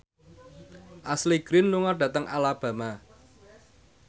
Ashley Greene lunga dhateng Alabama